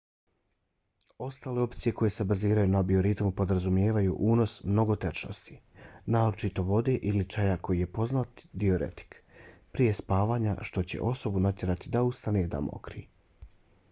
ostale opcije koje se baziraju na bioritmu podrazumijevaju unos mnogo tečnosti naročito vode ili čaja koji je poznati diuretik prije spavanja što će osobu natjerati da ustane da mokri